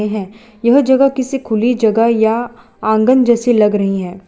यह जगह किसी खुली जगह या आंगन जैसे लग रही है।